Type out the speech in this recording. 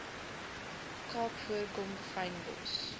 kaap voorkom fynbos